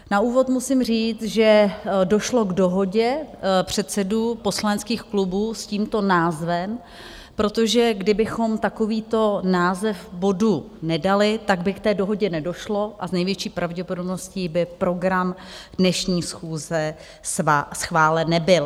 Na úvod musím říct, že došlo k dohodě předsedů poslaneckých klubů s tímto názvem, protože kdybychom takovýto název bodu nedali, tak by k té dohodě nedošlo a s největší pravděpodobností by program dnešní schůze schválen nebyl.